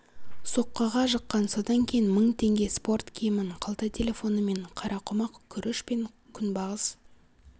соққыға жыққан содан кейін мың теңге спорт киімін қалта телефоны мен қарақұмық күріш пен күнбағыс